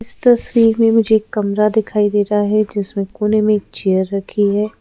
इस तस्वीर में मुझे एक कमरा दिखाई दे रहा है जिसमें कोने में एक चेयर रखी है।